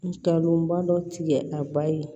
Nkalonba dɔ tigɛ a ba ye